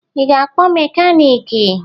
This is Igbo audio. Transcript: Ị ga-akpọ mekaniiki?